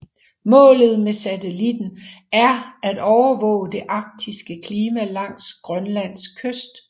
Målet med satellitten er at overvåge det arktiske klima langs Grønlands kyst